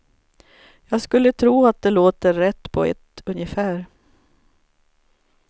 Jag skulle tro att det låter rätt på ett ungefär.